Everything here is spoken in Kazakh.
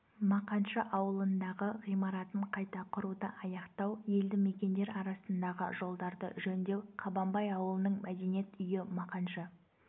мақаншы ауылындағы ғимаратын қайта құруды аяқтау елді мекендер арасындағы жолдарды жөндеу қабанбай ауылының мәдениет үйі мақаншы